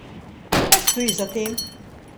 Kaj stoji za tem?